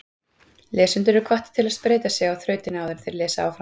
Lesendur eru hvattir til að spreyta sig á þrautinni áður en þeir lesa áfram.